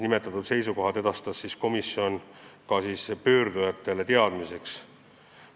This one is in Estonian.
Need seisukohad edastas komisjon omakorda pöördujatele, et nad saaks need teadmiseks võtta.